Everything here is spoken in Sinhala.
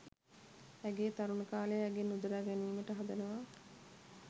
ඇගේ තරුණ කාලය ඇගෙන් උදුරා ගැනීමට හදනවා.